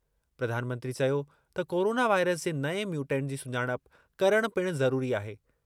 प्रधानमंत्री चयो त कोरोना वाइरस जे नएं म्यूटेंट जी सुञाणप करणु पिणु ज़रूरी आहे।